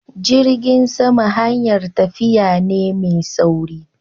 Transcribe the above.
jirgin sama hayar tafiya ne mai sauri.